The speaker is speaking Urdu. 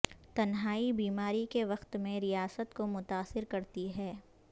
تنہائی بیماری کے وقت میں ریاست کو متاثر کرتی ہے